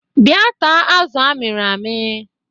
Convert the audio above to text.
Bia taa azụ amiri ami